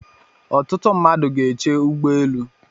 Ọtụtụ mmadụ gá eche ụgbọelu.